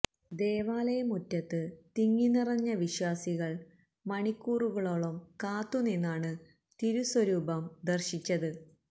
ദേവാലയ മുറ്റത്ത് തിങ്ങി നിറഞ്ഞ വിശ്വാസികള് മണിക്കൂറുകളോളം കാത്തുനിന്നാണ് തിരുസ്വരൂപം ദര്ശിച്ചത്